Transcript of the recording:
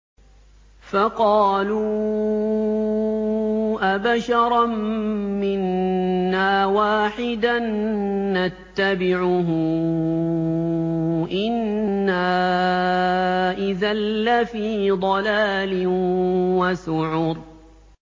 فَقَالُوا أَبَشَرًا مِّنَّا وَاحِدًا نَّتَّبِعُهُ إِنَّا إِذًا لَّفِي ضَلَالٍ وَسُعُرٍ